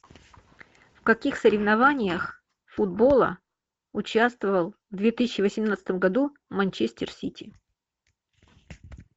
в каких соревнованиях футбола участвовал в две тысячи восемнадцатом году манчестер сити